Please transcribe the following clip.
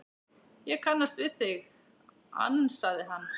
Ég kannast við þig, ansaði hann.